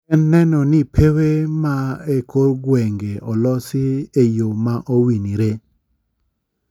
en neno ni pewe man e kor gwenge olosi e yo ma owinire,